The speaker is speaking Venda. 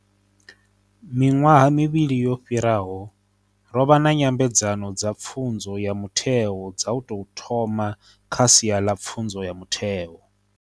Miṅwaha mivhili yo fhira ho, ro vha na Nyambedzano dza Pfunzo ya Mutheo dza u tou thoma kha sia ḽa pfunzo ya mutheo.